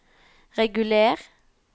reguler